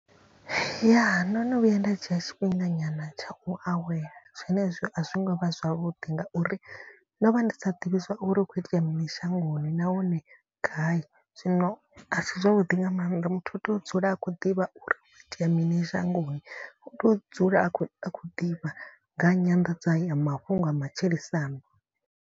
Ya ndo no vhuya nda dzhia tshifhinga nyana tsha u awela zwenezwo a zwi ngo vha zwavhuḓi. Ngauri ndo vha ndi sa ḓivhi zwauri hu kho itea mini shangoni nahone gai. Zwino a si zwavhuḓi nga maanḓa muthu u tea u dzula a khou ḓivha uri hu kho itea mini shangoni. U to dzula a khou a khou ḓivha nga nyanḓadza ya mafhungo ya matshilisano.